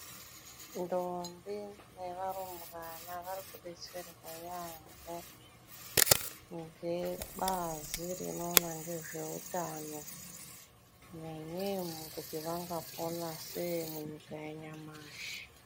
Ntombi nevarumbwana varikudetserwa yaampo ngebazi rinoona ngezveutano nyanyei kuti vangopona sei munyika yanyamashi.